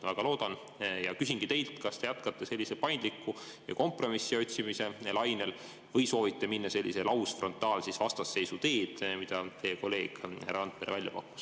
Väga loodan seda ja küsingi teilt, kas te jätkate paindliku ja kompromissi otsimise lainel või soovite minna sellise lausfrontaalvastasseisu teed, mida teie kolleeg härra Randpere välja pakkus.